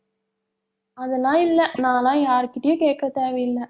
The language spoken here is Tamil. அதெல்லாம் இல்ல நான் எல்லாம் யார்கிட்டயும் கேட்க தேவையில்ல.